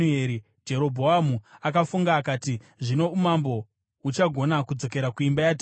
Jerobhoamu akafunga akati, “Zvino umambo huchagona kudzokera kuimba yaDhavhidhi.